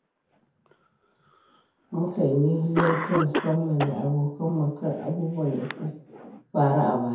Mukan yi hira ta musamman da abokan mu kan abubuwan da suka faru a baya.